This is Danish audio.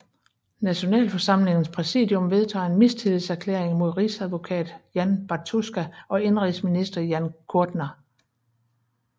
Nationalforsamlingens præsidium vedtager en mistillidserklæring mod rigsadvokat Jan Bartuska og indenrigsminister Jan Kudrna